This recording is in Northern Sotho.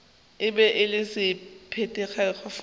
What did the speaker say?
e be e le semphetekegofete